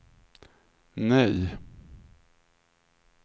nej